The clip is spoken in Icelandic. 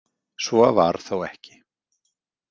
Svo var þó ekki.